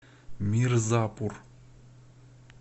мирзапур